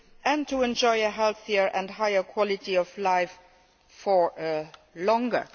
and to enjoy a healthier and higher quality of life for longer.